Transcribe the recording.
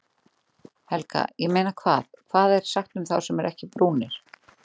Helga: Ég meina hvað, hvað er sagt um þá sem eru ekkert brúnir?